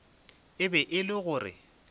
e be e le gore